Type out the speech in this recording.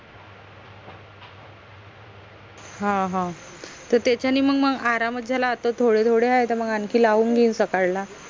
हां हां त त्याच्यानी मंग मंग आरामच झाला आता थोडे थोडे आहे त मंग आनखी लाऊन घेईन साकाडला